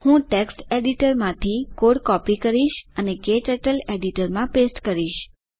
હું ટેક્સ્ટ એડિટરમાંથી code copy કરીશ અને ક્ટર્ટલ એડિટરમાં પેસ્ટ કરીશ